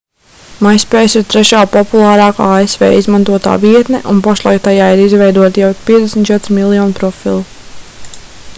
myspace ir trešā populārākā asv izmantotā vietne un pašlaik tajā ir izveidoti jau 54 miljoni profilu